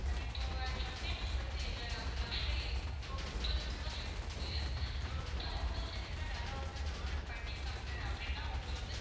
இப்போ sometimes வந்து அந்த bus ல மொத்தம் முப்பது window seat உண்டு. அதுல முப்பது window seat மே வேற ஒருத்தவங்க order பண்ணிருக்காங்க அப்படின்னா உங்களுக்கு வந்து